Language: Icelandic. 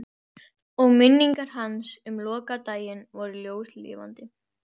Og minningar hans um lokadaginn voru ljóslifandi.